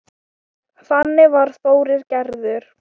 Þannig var Þórir gerður.